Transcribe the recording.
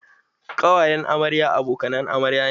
Ƙawayen amarya abokanan amarya ne.